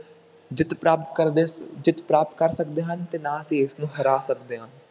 ਜਿੱਤ ਪ੍ਰਾਪਤ ਕਰਦੇ, ਜਿੱਤ ਪ੍ਰਾਪਤ ਕਰ ਸਕਦੇ ਹਾਂ ਅਤੇ ਨਾ ਅਸੀਂ ਇਸਨੂੰ ਹਰਾ ਸਕਦੇ ਹਾਂ।